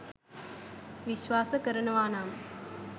විස්වාස කරනවා නම්